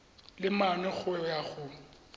le mane go ya go